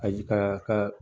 Ayi a ka